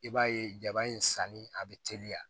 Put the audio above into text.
I b'a ye jaba in sanni a bɛ teliya